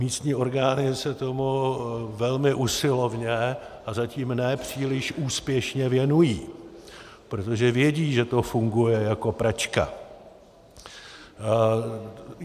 Místní orgány se tomu velmi usilovně a zatím ne příliš úspěšně věnují, protože vědí, že to funguje jako pračka.